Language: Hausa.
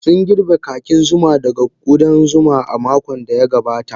Sun girbe kakin zuma daga ƙudan zuma a makon da ya gabata.